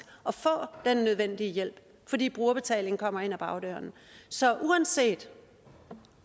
at få den nødvendige hjælp fordi brugerbetaling kommer ind ad bagdøren så uanset